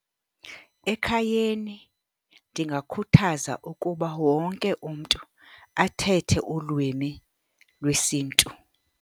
Ekhayeni ndingakhuthaza ukuba wonke umntu athethe ulwimi lwesiNtu.